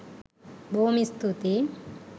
බොහෝම ස්තූතියි